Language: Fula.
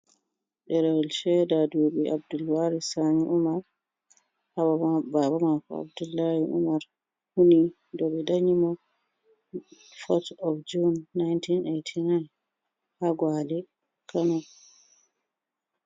Ɗerewel sheda duɓi Abdulwaris Sani Umar baba mako Abdullahi Umar huni do be danyi mo 4th of june, 1989 ha Gwale Kano.